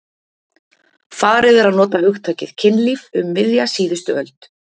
Farið er að nota hugtakið kynlíf um miðja síðustu öld.